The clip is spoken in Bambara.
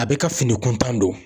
A bɛ ka fini kuntan don.